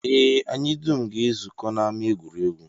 Ee, anyị dum ga-ezukọ n'ama egwuregwu